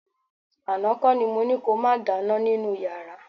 Àná kọ́ ni mo ní ko máa dáná nínú yàrá